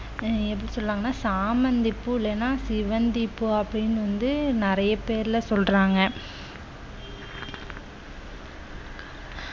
எப்படி சொல்லுவாங்கன்னா சாமந்தி பூ இல்லேன்னா சிவந்தி பூ அப்படின்னு வந்து நிறைய பேர்ல சொல்றாங்க